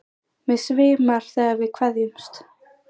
Mig svimar þegar við kveðjumst.